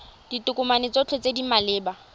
ditokomane tsotlhe tse di maleba